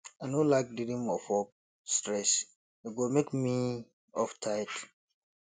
i no like dream of work stress e go make me wake up tired